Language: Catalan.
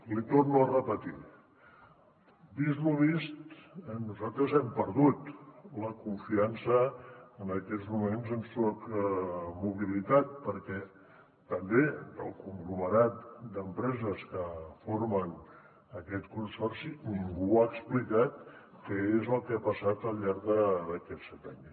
l’hi torno a repetir vist lo vist nosaltres hem perdut la confiança en aquests moments en soc mobilitat perquè també del conglomerat d’empreses que formen aquest consorci ningú ha explicat què és el que ha passat al llarg d’aquests set anys